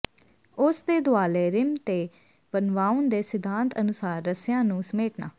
ਉਸ ਦੇ ਦੁਆਲੇ ਰਿਮ ਤੇ ਵਨਵਾਉਣ ਦੇ ਸਿਧਾਂਤ ਅਨੁਸਾਰ ਰੱਸਿਆਂ ਨੂੰ ਸਮੇਟਣਾ